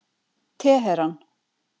Teheran